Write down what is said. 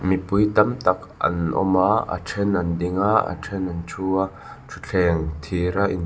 mipui tam tak an awm a a ṭhen an ding a a ṭhen an thu a ṭhutthleng thira in --